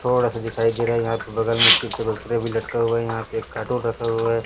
थोड़ा सा दिखाई दे रहा है यहाँ पे बगल में चिप्स और कुरकुरे भी लटका हुआ है यहाँ पे एक कार्टून रखा हुआ हैं।